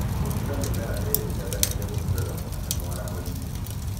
gũtiga mĩmera ĩĩrĩ ing'ethanĩire ĩtigagia mwanya mwarahoinĩ